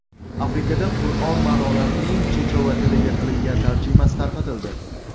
Afrikada Qur’on ma’nolarining chechova tiliga qilingan tarjimasi tarqatildi.